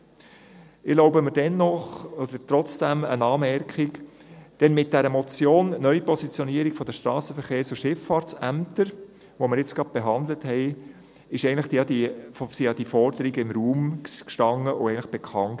Ich erlaube mir dennoch eine Anmerkung, denn mit der Motion «Neupositionierung der Strassenverkehrs- und Schifffahrtsämter» , die wir jetzt gerade behandelt haben, standen ja diese Forderungen im Raum und waren eigentlich bekannt.